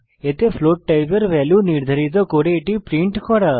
এতে ফ্লোট টাইপের ভ্যালু নির্ধারিত করে এটি প্রিন্ট করা